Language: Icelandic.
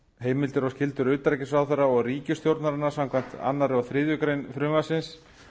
heimildir og skyldur utanríkisráðherra og ríkisstjórnarinnar samkvæmt öðrum og þriðju greinar frumvarpsins